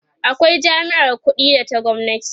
akwai jami'ar ƙuɗi da ta gwamnati